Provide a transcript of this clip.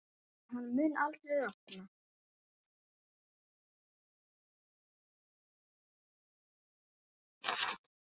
En hann mun aldrei rofna.